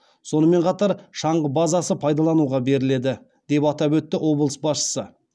сонымен қатар шаңғы базасы пайдалануға беріледі деп атап өтті облыс басшысы